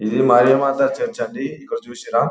ఇది మరియా మాత చర్చి అండి ఇక్కడ చూసి రా.